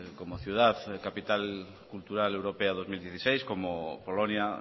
como ciudad capital cultural europea dos mil dieciséis como polonia